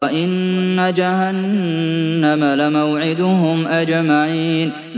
وَإِنَّ جَهَنَّمَ لَمَوْعِدُهُمْ أَجْمَعِينَ